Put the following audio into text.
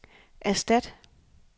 erstat